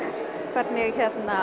hvernig